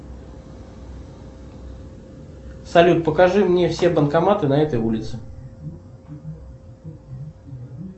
салют покажи мне все банкоматы на этой улице